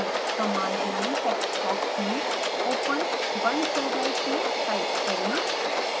command line text box में open 1zik type करें